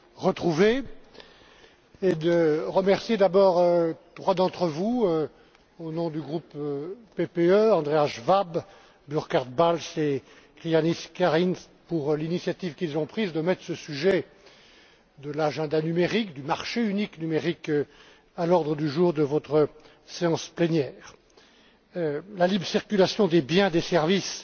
retrouver et de remercier d'abord trois d'entre vous, au nom du groupe PPE Andreas Schwab, Burkhard Balz et Krišjānis Kariņš pour l'initiative qu'ils ont prise de mettre ce sujet de l'agenda numérique, du marché unique numérique à l'ordre du jour de votre séance plénière. La libre circulation des biens et des services